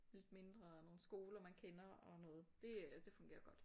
Lidt mindre og nogle skoler man kender og noget det øh det fungerer godt